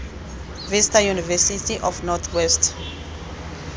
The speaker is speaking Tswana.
vista university of north west